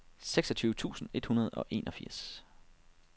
seksogtyve tusind et hundrede og enogfirs